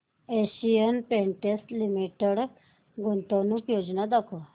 Asian Paints limited गुंतवणूक योजना दाखव